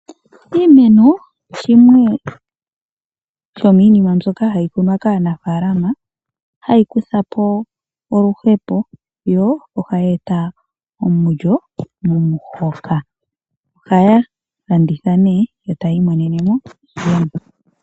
Iimeno shimwe shominima mbyoka hayi kunwa kaanafalama, hayi kuthapo oluhepo yo ohayi eta omulyo momuhoka. Ohaya landitha eta yi imonenemo iiyemo.